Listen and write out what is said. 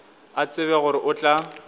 a tsebe gore o tla